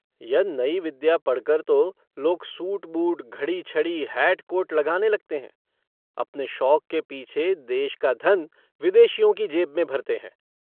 यह नई विद्या पढ़कर तो लोग सूट-बूट घड़ी छड़ी हैट-कोट लगाने लगते हैं। अपने शौक के पीछे देश का धन विदेशियों की जेब में भरते हैं।